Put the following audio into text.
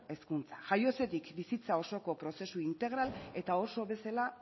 hezkuntza jaiotzatik bizitza osoko prozesu integral eta oso bezala